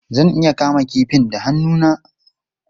Zan iya kama kifin da hannu na?